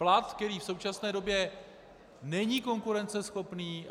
Plat, který v současné době není konkurenceschopný.